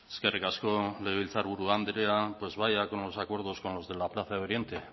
eskerrik asko legebiltzar buru andrea pues vaya con los acuerdos con los de la plaza de oriente